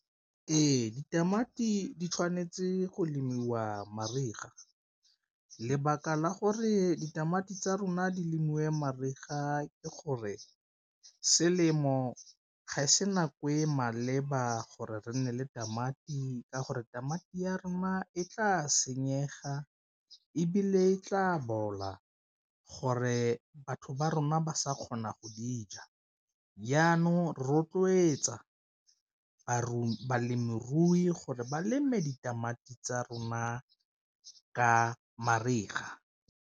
Ee, ditamati di tshwanetse go lemiwa mariga lebaka la gore ditamati tsa rona di lemiwe mariga ke gore selemo ga e se nako e maleba gore re nne le tamati ka gore tamati ya rona e tla senyega, ebile e tla bola gore batho ba rona ba sa kgona go dija jaanong rotloetsa balemirui gore ba leme ditamati tsa rona ka mariga.